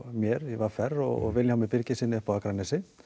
mér í v r og Vilhjálmi Birgissyni á Akranesi